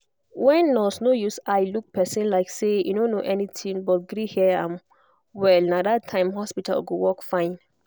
when nurse no use eye look person like say e no know anything but gree hear am well na that time hospital go work fine.